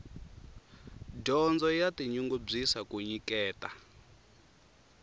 dyondzo ya tinyungubyisa ku nyiketa